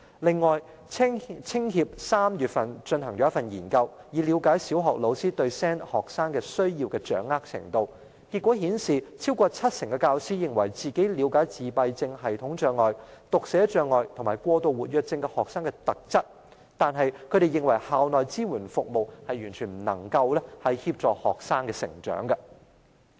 另外，香港青年協會在3月進行研究，以了解小學老師對 SEN 學生的需要的掌握程度，結果顯示有超過七成教師認為自己了解自閉症譜系障礙、讀寫障礙和過度活躍症學生的特質，但是，他們認為校內支援服務完全不能協助學生的成長。